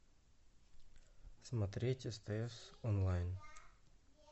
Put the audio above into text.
смотреть стс онлайн